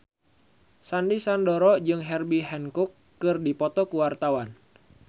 Sandy Sandoro jeung Herbie Hancock keur dipoto ku wartawan